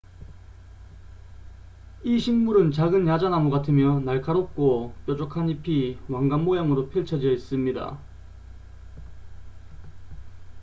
이 식물은 작은 야자나무 같으며 날카롭고 뾰족한 잎이 왕관 모양으로 펼쳐져 있습니다